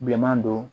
Bilenman don